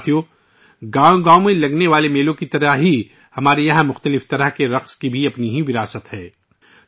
ساتھیو، جس طرح ہر گاؤں میں میلوں کا انعقاد ہوتا ہے، اسی طرح یہاں کے مختلف رقص کی بھی اپنی الگ وراثتی پہچان ہیں